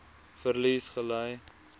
verlies gely